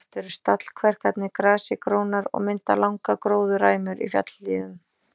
Oft eru stallkverkarnar grasi grónar og mynda langar gróðurræmur í fjallahlíðum.